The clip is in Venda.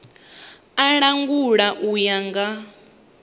u langula u ya nga